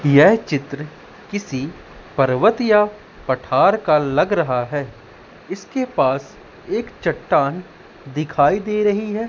यह चित्र किसी पर्वत या पठार का लग रहा है इसके पास एक चट्टान दिखाई दे रही है।